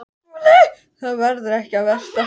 SKÚLI: Það var ekki það versta.